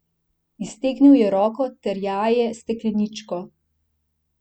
Iztegnil je roko, terjaje stekleničko.